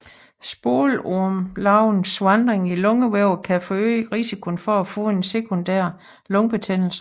Spolormelarvernes vandring i lungevævet kan forøge risikoen for at få en sekundær lungebetændelse